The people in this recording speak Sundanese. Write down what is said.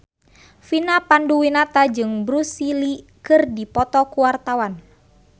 Vina Panduwinata jeung Bruce Lee keur dipoto ku wartawan